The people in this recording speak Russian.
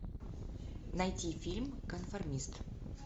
найти фильм конформист